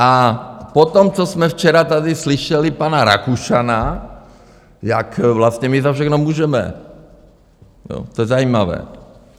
A potom, co jsme včera tady slyšeli pana Rakušana, jak vlastně my za všechno můžeme, to je zajímavé.